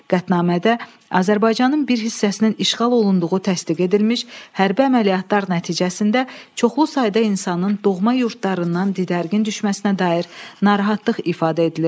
Qətnamədə Azərbaycanın bir hissəsinin işğal olunduğu təsdiq edilmiş, hərbi əməliyyatlar nəticəsində çoxlu sayda insanın doğma yurdlarından didərgin düşməsinə dair narahatlıq ifadə edilirdi.